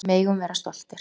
Við megum vera stoltir.